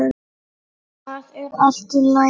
Það er allt í lagi